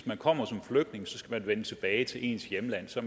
man kommer som flygtning skal man vende tilbage til sit hjemland så